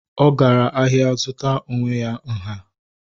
Ọ gara ahịa ị zụtara onwe ya nha